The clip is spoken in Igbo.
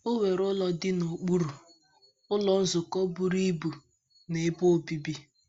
O nwere ụlọ dị n’okpuru, Ụlọ Nzukọ buru ibu na ebe obibi.